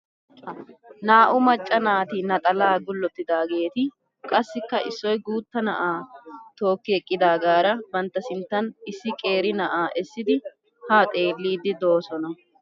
Naa"u macca naati naxalaa gullottidaageeti qassikka issoy guutta na'aa tookki eqqidaagaara bantta sinttan issi qeeri na'aa essidi haa xeelliiddi doosona.